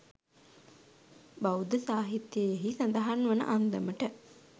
බෞද්ධ සාහිත්‍යයෙහි සඳහන් වන අන්දමට